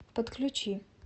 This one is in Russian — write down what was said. подключи